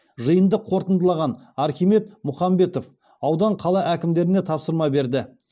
жиынды қорытындылаған архимед мұхамбетов аудан қала әкімдеріне тапсырма берді